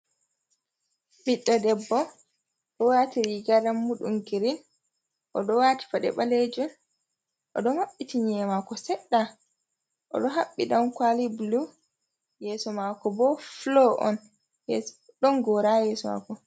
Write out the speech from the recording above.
Ɓiɗɗo debbo ɗo wati riga rammuɗam girin, o ɗo wati paɗe balejum, o ɗo maɓɓiti nye'e mako sedda, o ɗo habbi damkwali bulu, yeso mako bo fulo on, yes ɗon gora ha yeso mako.